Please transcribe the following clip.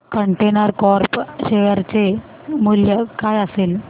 container Corp share चे मूल्य काय असेल